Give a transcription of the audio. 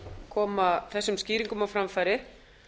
koma þessum skýringum á framfæri